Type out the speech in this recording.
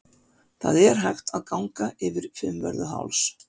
Það er hægt að ganga yfir Fimmvörðuháls.